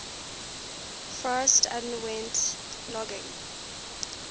forest underwent logging